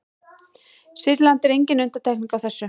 sýrland er engin undantekning á þessu